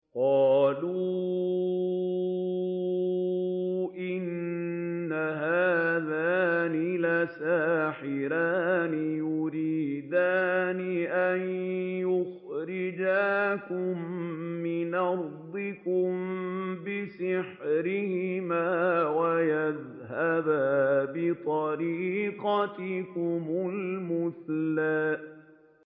قَالُوا إِنْ هَٰذَانِ لَسَاحِرَانِ يُرِيدَانِ أَن يُخْرِجَاكُم مِّنْ أَرْضِكُم بِسِحْرِهِمَا وَيَذْهَبَا بِطَرِيقَتِكُمُ الْمُثْلَىٰ